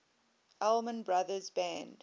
allman brothers band